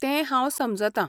तें हांव समजतां.